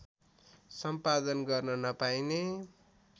सम्पादन गर्न नपाइने